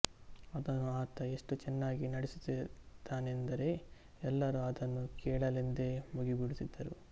ಅದನ್ನು ಆತ ಎಷ್ಟು ಚೆನ್ನಾಗಿ ನುಡಿಸುತ್ತಿದ್ದನೆಂದರೆ ಎಲ್ಲರೂ ಅದನ್ನು ಕೇಳಲೆಂದೇ ಮುಗಿಬೀಳುತ್ತಿದ್ದರು